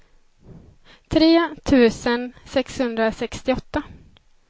tre tusen sexhundrasextioåtta